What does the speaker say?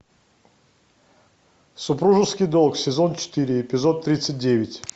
супружеский долг сезон четыре эпизод тридцать девять